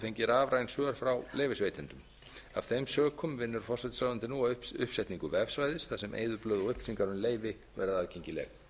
fengið rafræn skjöl frá leyfisveitendum af þeim sökum vinnur forsætisráðuneytið nú að uppsetningu vefsvæðis þar sem eyðublöð og upplýsingar um leyfi verða aðgengileg